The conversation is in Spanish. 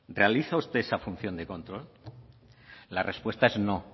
realiza usted esa función de control